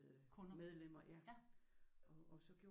Kunder